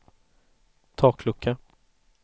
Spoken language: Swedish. taklucka